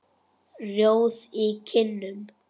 Rjóð í kinnum.